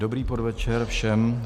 Dobrý podvečer všem.